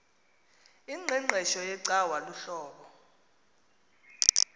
ingqeqesho yecawa luhlobo